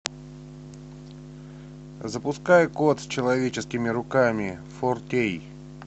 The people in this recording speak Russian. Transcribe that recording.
запускай кот с человеческими руками фор кей